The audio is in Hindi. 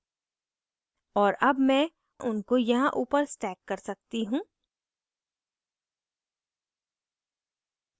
और अब मैं उनको यहाँ ऊपर stack कर सकती हूँ